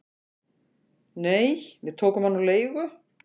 """Nei, við tókum hann á leigu"""